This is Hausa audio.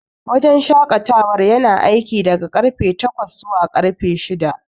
Wajen shaƙatawar yana aiki daga karfe takwas zuwa karfe shida.